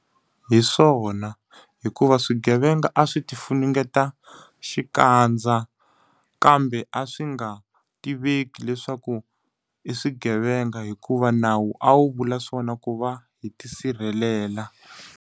Hi swona. Hikuva swigevenga a swi ti funengeta xikandza, kambe a swi nga tiveki leswaku i swigevenga hikuva nawu a wu vula swona ku va hi tisirhelela.